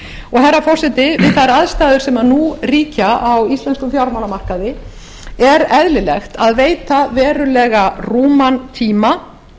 herra forseti við þær aðstæður sem nú ríkja á íslenskum fjármálamarkaði er eðlilegt að veita verulega rúman tíma